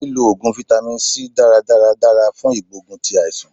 Lí lo Ògùn fáítámì C dáradára dára fún ìgbógun ti àìsàn.